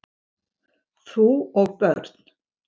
Bú og börn